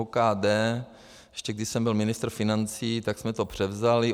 OKD, ještě když jsem byl ministr financí, tak jsme to převzali.